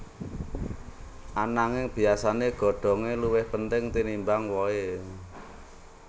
Ananging biyasané godhongé luwih penting tinimbang wohé